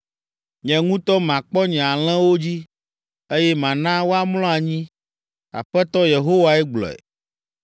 Nye ŋutɔ makpɔ nye alẽwo dzi, eye mana woamlɔ anyi.’ Aƒetɔ Yehowae gblɔe.